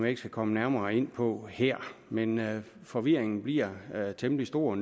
ikke skal komme nærmere ind på her men forvirringen bliver temmelig stor